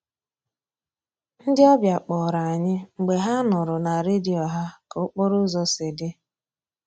Ndị ọbịa kpọrọ anyị mgbe ha nụrụ na redio ha ka okporo ụzọ si dị